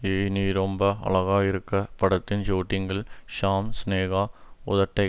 ஏய் நீ ரொம்ப அழகாயிருக்க படத்தின் ஷுட்டிங்கில் ஷாம் சினேகா உதட்டை